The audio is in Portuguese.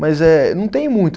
Mas eh, não tenho muito.